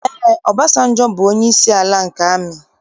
Ee, Ọbasanjọ bụ onyeisi ala nke amị.